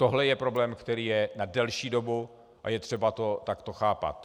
Tohle je problém, který je na delší dobu, a je třeba to takto chápat.